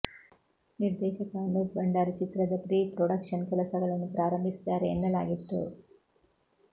ನಿರ್ದೇಶಕ ಅನೂಪ್ ಭಂಡಾರಿ ಚಿತ್ರದ pre production ಕೆಲಸಗಳನ್ನು ಪ್ರಾರಂಭಿಸಿದ್ದಾರೆ ಎನ್ನಲಾಗಿತ್ತು